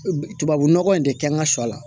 Tubabu nɔgɔ in de kɛ n ka sɔ la